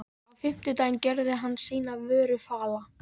Á fimmtudaginn gjörði hann sína vöru fala.